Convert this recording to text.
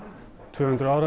tvö hundruð ár að